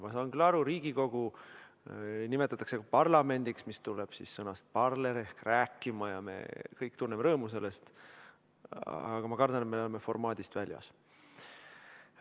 Ma saan küll aru, et Riigikogu nimetatakse ka parlamendiks, mis tuleb sõnast parler ehk rääkima, ja me kõik tunneme rõõmu sellest, aga ma kardan, et me läheme niimoodi oma istungi formaadist välja.